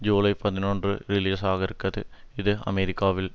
ஜுலை பதினொன்று ரிலீஸாகிறது இது அமெரிக்காவில்